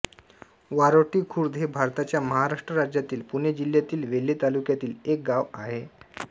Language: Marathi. वारोटी खुर्द हे भारताच्या महाराष्ट्र राज्यातील पुणे जिल्ह्यातील वेल्हे तालुक्यातील एक गाव आहे